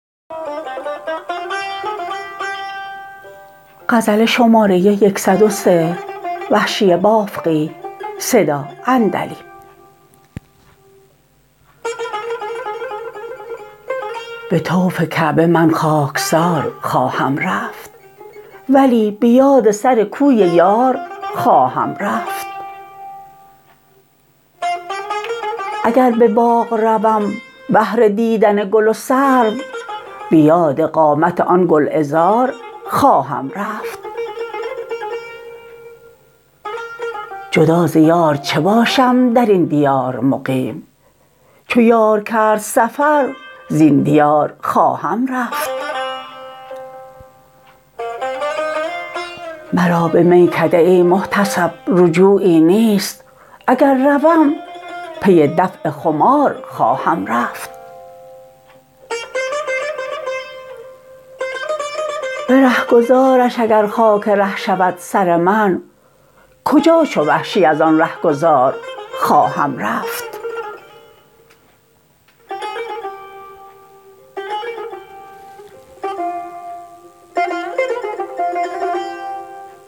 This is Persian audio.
به طوف کعبه من خاکسار خواهم رفت ولی به یاد سر کوی یار خواهم رفت اگر به باغ روم بهر دیدن گل و سرو به یاد قامت آن گلعذار خواهم رفت جدا ز یار چه باشم درین دیار مقیم چو یار کرد سفر زین دیار خواهم رفت مرا به میکده ای محتسب رجوعی نیست اگر روم پی دفع خمار خواهم رفت به رهگذارش اگر خاک ره شود سر من کجا چو وحشی از آن رهگذار خواهم رفت